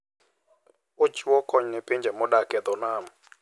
Ochiwo kony ne pinje modak e dho nam.